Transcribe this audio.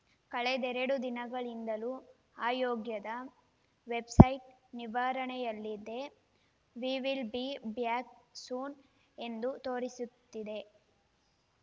ಕಳೆದೆರಡು ದಿನಗಳಿಂದಲೂ ಆಯೋಗದ ವೆಬ್‌ಸೈಟ್‌ ನಿರ್ವಹಣೆಯಲ್ಲಿದೆ we will be back soon ಎಂದು ತೋರಿಸುತ್ತಿದೆ